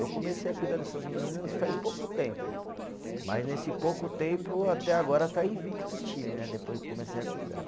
Eu comecei a cuidar dessas meninas faz pouco tempo, mas nesse pouco tempo até agora está invicto o time né, depois que comecei a cuidar.